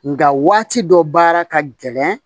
Nga waati dɔ baara ka gɛlɛn